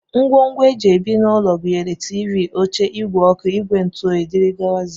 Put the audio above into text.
Ngwongwo e ji ebi n'ụlọ gụnyere tiivii, oche, ìgwè ọkụ, ìgwè ntụoyi, dgz